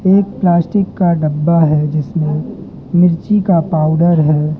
एक प्लास्टिक का डब्बा है जिसमें मिर्ची का पाउडर है।